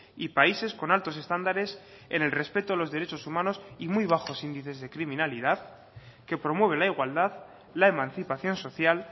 y países con altos estándares en el respeto a los derechos humanos y muy bajos índices de criminalidad que promueve la igualdad la emancipación social